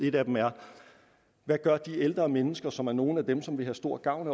et af dem er hvad gør de ældre mennesker som er nogle af dem som vil have stor gavn